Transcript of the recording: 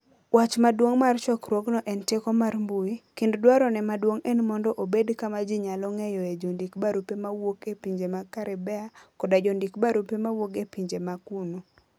Wach maduong ' mar chokruogno en "Teko mar mbui", kendo dwarone maduong ' en mondo obed kama ji nyalo ng'eyoe jondik - barupe mawuok e pinje mag Caribbea koda jondik - barupe mawuok e pinje ma kuno.